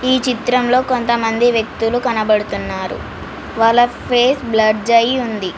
ఈ చిత్రంలో కొంతమంది వ్యక్తులు కనబడుతున్నారు వాళ్ల పేస్ బ్లడ్జ్ అయ్యి ఉంది.